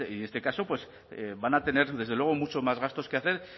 en este caso pues van a tener desde luego muchos más gastos que hacer